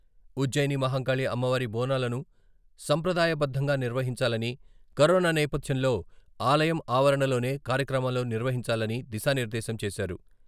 ఉజ్జయిని మహంకాళి అమ్మవారి బోనాలను సంప్రదాయ బద్ధంగా నిర్వహించాలని, కరోనా నేపథ్యంలో ఆలయం ఆవరణలోనే కార్యక్రమాలు నిర్వహించాలని దిశానిర్దేశం చేశారు.